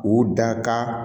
U da ka